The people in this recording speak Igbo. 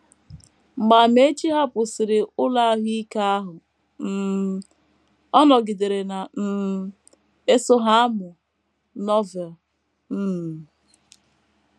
Mgbe Amaechi hapụsịrị ụlọ ahụ ike ahụ um, ọ nọgidere na um - eso Ha amụ Novel. um